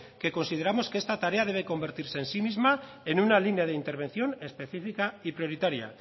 que consideramos que esta tarea debe convertirse en sí misma en una línea de intervención específica y prioritaria